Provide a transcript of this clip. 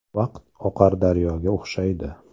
Vaqt oqar daryoga o‘xshaydi.